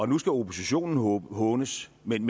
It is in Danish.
nu skal oppositionen hånes men